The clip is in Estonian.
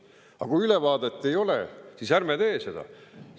Aga kui ülevaadet ei ole, siis ärme teeme seda.